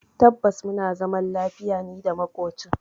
Tabbas muna zaman lafiya nida makocin.